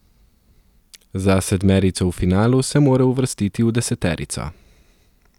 Za sedmerico v finalu se mora uvrstiti v deseterico.